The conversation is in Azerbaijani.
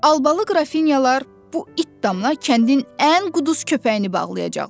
Albalı qrafinyalar bu it damına kəndin ən quduruz köpəyini bağlayacaqlar.